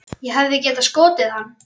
Ég hefði getað skotið hann.